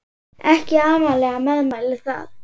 Ekki amaleg meðmæli það.